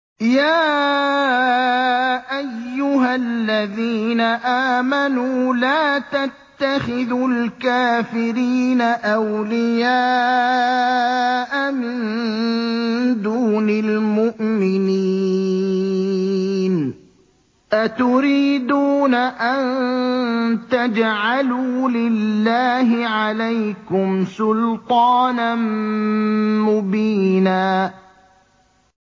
يَا أَيُّهَا الَّذِينَ آمَنُوا لَا تَتَّخِذُوا الْكَافِرِينَ أَوْلِيَاءَ مِن دُونِ الْمُؤْمِنِينَ ۚ أَتُرِيدُونَ أَن تَجْعَلُوا لِلَّهِ عَلَيْكُمْ سُلْطَانًا مُّبِينًا